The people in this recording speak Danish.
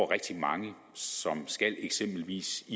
rigtig mange som eksempelvis